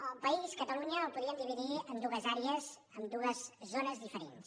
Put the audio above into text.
el país catalunya el podríem dividir en dues àrees en dues zones diferents